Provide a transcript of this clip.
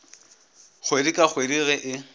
kgwedi ka kgwedi ge e